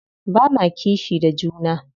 Ba ma kishi da juna.